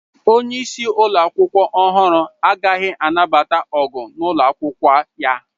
Onye isi ụlọ akwụkwọ ọhụrụ agaghị anabata ọgụ n'ụlọ akwụkwọ ya.